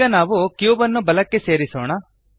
ಈಗ ನಾವು ಕ್ಯೂಬ್ ನ್ನು ಬಲಕ್ಕೆ ಸರಿಸೋಣ